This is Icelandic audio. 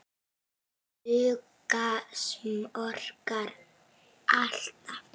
Duga smokkar alltaf?